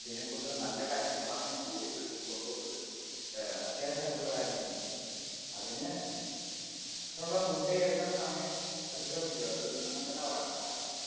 ഇതിനെ കുറിച്ചുള്ള നല്ല കാര്യങ്ങൾ പറഞ്ഞ് ബോധ്യപ്പെടുത്തി കൊണ്ടോന്നത് ഏർ അത്യാവശ്യമായിട്ടുള്ള കാര്യം തന്നെയാ അതിന് ഉം അതിനുള്ള മുൻ കൈ എടുക്കണ്ട സമയം അതിക്രമിച്ചു അത് അങ്ങനെതന്നെ പറയണം കാരണം